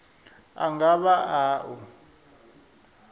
a nga vha a u